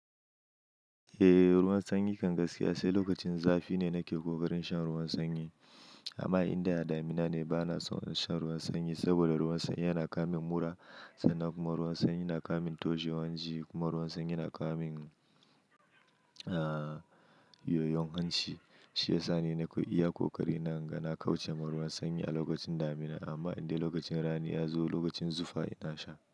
Eh ruwan sanyi kan gaskiya sai lokacin zafi ne nake ƙoƙarin shan ruwan sanyi. Amma inda damina ne bana son shan ruwan sanyi, saboda ruwan sanyi yana kawo min mura, sannan kuma ruwan sanyi na kawo min toahewan ji kuma ruwan sanyi yana kammin, ah yoyon hanci. Shi ya sa ni nake iya ƙoƙari na, na ga na kauce ma ruwan sanyi a lokacin damina. Amma inda lokacin rani ya zo lokacin zufa ina sha.